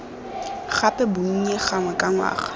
gape bonnye gangwe ka ngwaga